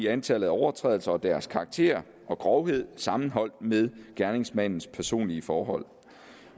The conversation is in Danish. antallet af overtrædelser deres karakter og grovhed sammenholdt med gerningsmandens personlige forhold